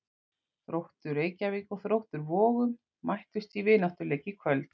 Þróttur Reykjavík og Þróttur Vogum mættust í vináttuleik í kvöld.